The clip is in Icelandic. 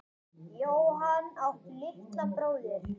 Jóhann: Áttu litla bróðir?